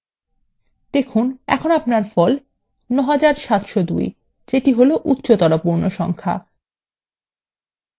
দেখুন এখন আপনার ফল এখন ৯৭০২ যেত হল উচ্চতর পূর্ণ সংখ্যা